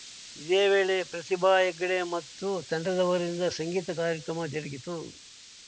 ಇದೇ ವೇಳೆ ಪ್ರತಿಭಾ ಹೆಗಡೆ ಮತ್ತು ತಂಡದವರಿಂದ ಸಂಗೀತ ಕಾರ್ಯಕ್ರಮ ಜರುಗಿತು